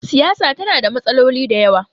siyasa tana da matsaloli da yawa